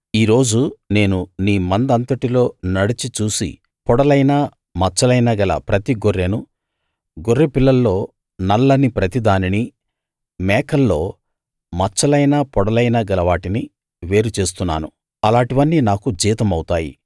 ఈ రోజు నేను నీ మంద అంతటిలో నడచి చూసి పొడలైనా మచ్చలైనా గల ప్రతి గొర్రెను గొర్రెపిల్లల్లో నల్లని ప్రతిదానినీ మేకల్లో మచ్చలైనా పొడలైనా గలవాటినీ వేరు చేస్తున్నాను అలాటివన్నీ నాకు జీతమౌతాయి